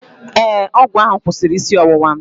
Ee, ọgwụ ahụ kwụsịrị isi ọwụwa m